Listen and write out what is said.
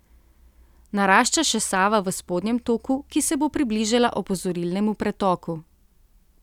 Narašča še Sava v spodnjem toku, ki se bo približala opozorilnemu pretoku.